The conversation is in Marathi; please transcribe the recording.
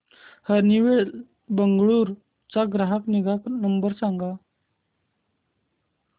हनीवेल बंगळुरू चा ग्राहक निगा नंबर सांगा